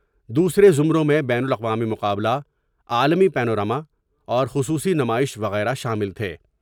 دوسرے زمروں میں بین الاقوامی مقابلہ عالمی پینو را م اور خصوصی نمائش وغیرہ شامل تھے ۔